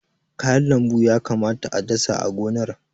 Kayan lambu ya kamata a dasa a gonar.